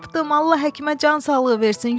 Allah həkimə can sağlığı versin,